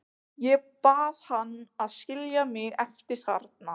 Ég bað hann að skilja mig eftir þarna.